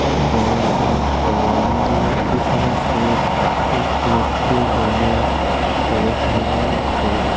জমায়নন মন্দির পেছনে শিব কার্তিক লক্ষ্মী গণেশ ইত্যাদি হনুমান ছবি দেখতে --